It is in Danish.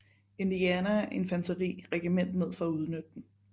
Indiana Infanteri regiment ned for at udnytte dem